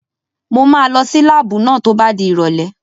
Mo máa lọ sí láàbù náà tó bá di ìrọ̀lẹ́